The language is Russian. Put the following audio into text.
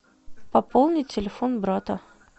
пополни телефон брата